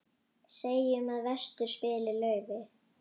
Segjum að vestur spili laufi.